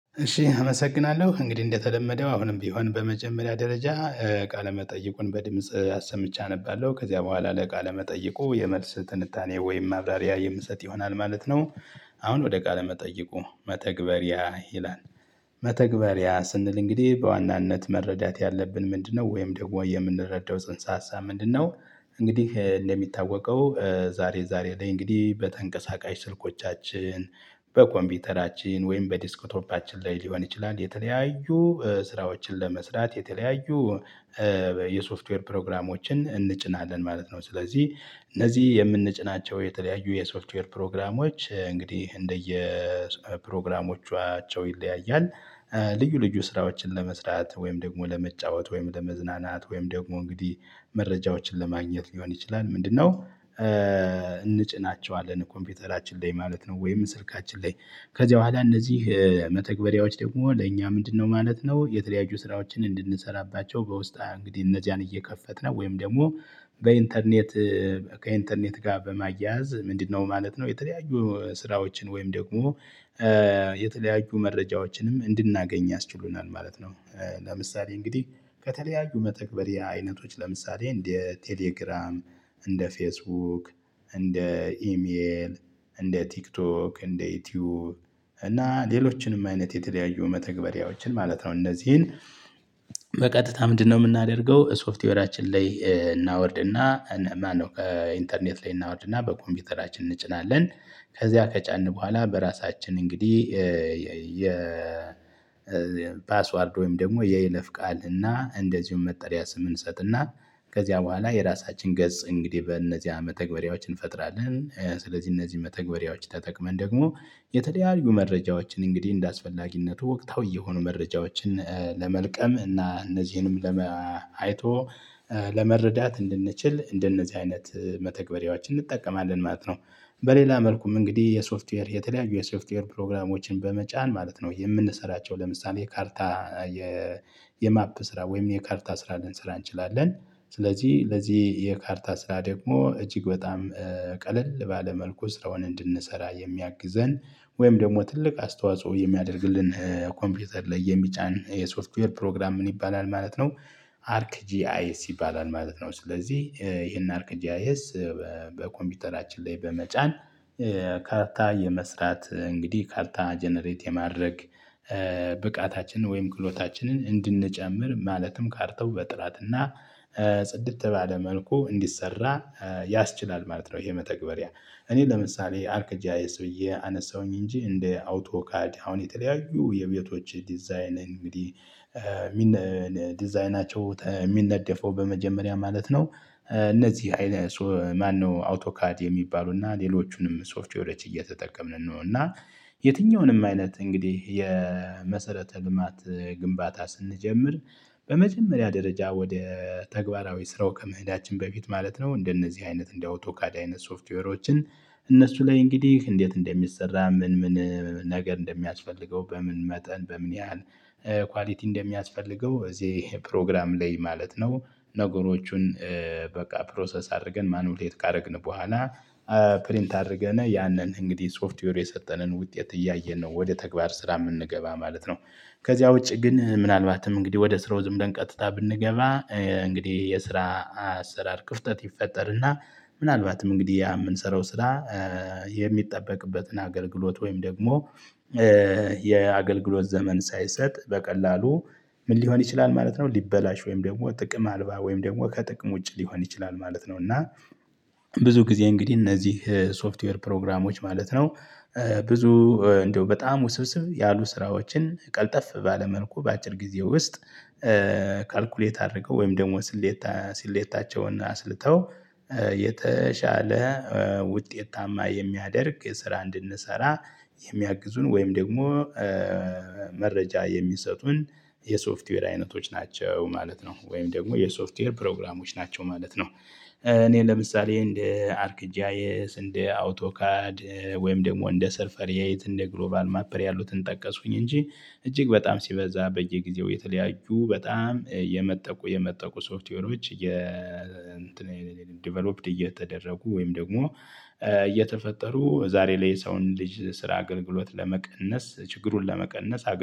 እሺ አመሰግናለሁ እንግዲህ እንደተለመደው አሁንም ቢሆን በመጀመሪያ ደረጃ ቃለ መጠየቁን በድምጽ አሰምቼ አነባለሁ ከዚያ በኋላ ለቃለ መጠየቁ የመልስ ትንታኔ ወይም ማብራሪያ የምሰጥ ይሆናል ማለት ነው። አሁን ወደ ቃለ መጠይቁ መተግበሪያ ይላል። መተግበሪያ ስንል እንግዲህ በዋናነት መረዳት ያለብን ምንድነው ወይም ደግሞ የምንረዳው ጽንሰ ሀሳብ ምንድነው? እንግዲህ እንደሚታወቀው ዛሬ ዛሬ ላይ እንግዲህ በተንቀሳቃሽ ስልኮቻችን በኮምፒተራችን ወይም በዲስክቶፓችን ላይ ሊሆን ይችላል። የተለያዩ ስራዎችን ለመስራት የተለያዩ የሶፍትዌር ፕሮግራሞችን እንጭናለን ማለት ነው። ስለዚህ እነዚህ የምንጭናቸው የተለያዩ የሶፍትዌር ፕሮግራሞች እንግዲህ እንደየ ፕሮግራሞቻቸው ይለያያል። ልዩ ልዩ ስራዎችን ለመስራት ወይም ደግሞ ለመጫወት ወይም ለመዝናናት ወይም ደግሞ እንግዲህ መረጃዎችን ለማግኘት ሊሆን ይችላል ምንድነው? እንጭናቸዋለን ኮምፒውተራችን ላይ ማለት ነው። ወይም ስልካችን ላይ ከዚህ ኋላ እነዚህ መተግበሪያዎች ደግሞ ለእኛ ምንድነው ማለት ነው። የተለያዩ ስራዎችን እንድንሰራባቸው በውስጣ እንግዲህ እነዚያን እየከፈትን ወይም ደግሞ በኢንተርኔት ከኢንተርኔት ጋር በማያያዝ ምንድነው ማለት ነው። የተለያዩ ስራዎችን ወይም ደግሞ የተለያዩ መረጃዎችንም እንድናገኝ ያስችሉናል ማለት ነው። ለምሳሌ እንግዲህ ከተለያዩ መተግበሪያ አይነቶች ለምሳሌ እንደ ቴሌግራም እንደ ፌስቡክ እንደ ኢሜል እንደ ቲክቶክ እንደ ዩቲዩብ እና ሌሎችንም አይነት የተለያዩ መተግበሪያዎችን ማለት ነው። እነዚህን በቀጥታ ምንድነው የምናደርገው ሶፍትዌራችን ላይ እናወርድና እኔ ማነው ኢንተርኔት ላይ እናወርድና በኮምፒውተራችን እንጭናለን። ከዚያ ከጫን በኋላ በራሳችን እንግዲህ የ የፓስዎርድ ወይም ደግሞ የይለፍ ቃል እና እንደዚሁም መጠሪያ ስም እንሰጥና ከዚያ በኋላ የራሳችን ገጽ እንግዲህ በእነዚህ መተግበሪያዎች እንፈጥራለን። ስለዚህ እነዚህን መተግባሪያዎች ተጠቅመን ደግሞ የተለያዩ መረጃዎችን እንግዲህ እንደአስፈላጊነቱ ወቅታዊ የሆኑ መረጃዎችን ለመልቀም እና እነዚህንም ለመ አይቶ ለመረዳት እንድንችል እንደነዚህ አይነት መተግበሪያዎችን እንጠቀማለን ማለት ነው። በሌላ መልኩም እንግዲህ የሶፍትዌር የተለያዩ የሶፍትዌር ፕሮግራሞችን በመጫን ማለት ነው የምንሰራቸው ለምሳሌ የካርታ የማፕ ስራ ወይም የካርታ ስራ ልንሰራ እንችላለን። ስለዚህ ለዚህ የካርታ ስራ ደግሞ እጅግ በጣም ቀለል ባለ መልኩ ስራውን እንድንሰራ የሚያግዘን ወይም ደግሞ ትልቅ አስተዋጽኦ የሚያደርግልን ኮምፒውተር ላይ የሚጫን የሶፍትዌር ፕሮግራም ምን ይባላል ማለት ነው? አርክ ጂአይስ ይባላል ማለት ነው። ስለዚህ ይሄን አርክ ጂአይኤስ በኮምፒውተራችን ላይ በመጫን ካርታ የመስራት እንግዲህ ካርታ ጀነሬት የማድረግ ብቃታችንን ወይም ክሎታችንን እንድንጨምር ማለትም ካርተው በጥራትና ጽድት ባለ መልኩ እንዲሰራ ያስችላል ማለት ነው። ይሄ መተግበሪያ እኔ ለምሳሌ አርክ ጂአይኤስ ብዬ አነሳሁኝ እንጂ እንደ አውቶካድ አሁን የተለያዩ የቤቶች ዲዛይን እንግዲህ ዲዛይናቸው የሚነደፈው በመጀመሪያ ማለት ነው። እነዚህ አይነት ማነው አውቶካድ የሚባሉና ሌሎቹንም ሰፍትዌሮች እየተጠቀምን ነው። እና የትኛውንም አይነት እንግዲህ የመሰረተ ልማት ግንባታ ስንጀምር በመጀመሪያ ደረጃ ወደ ተግባራዊ ስራው ከመህዳችን በፊት ማለት ነው። እንደነዚህ አይነት እንደ አውቶካድ አይነት ሶፍትዌሮችን እነሱ ላይ እንግዲህ እንዴት እንደሚሰራ ምን ምን ነገር እንደሚያስፈልገው በምን መጠን በምን ያህል ኳሊቲ እንደሚያስፈልገው እዚህ ፕሮግራም ላይ ማለት ነው። ነገሮቹን በቃ ፕሮሰስ አድርገን ማኑፕሌት ካደረግን በኋላ ፕሪንት አድርገነ ያንን እንግዲህ ሶፍትዌር የሰጠንን ውጤት እያየን ነው ወደ ተግባር ስራ የምንገባ ማለት ነው። ከዚያ ውጪ ግን ምናልባትም እንግዲህ ወደ ስራው ዝም ብለን ቀጥታ ብንገባ እንግዲህ የስራ አሰራር ክፍተት ይፈጠርና ምናልባትም እንግዲህ ያ የምንሰራው ስራ የሚጠበቅበትን አገልግሎት ወይም ደግሞ የአገልግሎት ዘመን ሳይሰጥ በቀላሉ ምን ሊሆን ይችላል ማለት ነው። ሊበላሽ ወይም ደግሞ ጥቅም አልባ ወይም ደግሞ ከጥቅም ውጭ ሊሆን ይችላል ማለት ነው። እና ብዙ ጊዜ እንግዲህ እነዚህ ሶፍትዌር ፕሮግራሞች ማለት ነው። ብዙ እንደው በጣም ውስብስብ ያሉ ስራዎችን ቀልጠፍ ባለ መልኩ በአጭር ጊዜ ውስጥ ካልኩሌት አድርገው ወይም ደግሞ ስሌታ ስሌታቸውን አስልተው የተሻለ ውጤታማ የሚያደርግ ስራ እንድንሰራ የሚያግዙን ወይም ደግሞ መረጃ የሚሰጡን የሶፍትዌር አይነቶች ናቸው ማለት ነው። ወይም ደግሞ የሶፍትዌር ፕሮግራሞች ናቸው ማለት ነው። እኔ ለምሳሌ እንደ አርክጂያኤስ እንደ አውቶካድ ወይም ደግሞ እንደ ሰርፈር ሄይት እንደ ግሎባል ማፐር ያሉትን ጠቀስኩኝ እንጂ እጅግ በጣም ሲበዛ በየጊዜው የተለያዩ በጣም የመጠቁ የመጠቁ ሶፍትዌሮች የ ዲቨሎፕድ እየተደረጉ ወይም ደግሞ እየተፈጠሩ ዛሬ ላይ የሰውን ልጅ ስራ አገልግሎት ለመቀነስ ችግሩን ለመቀነስ